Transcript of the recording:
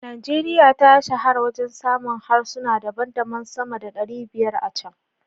Najeriya ta shahara wajen samun harsuna daban-daban sama da 500 a can.